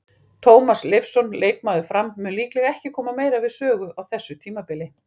Tómas Leifsson, leikmaður Fram, mun líklega ekki koma meira við sögu á þessu tímabili.